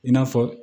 I n'a fɔ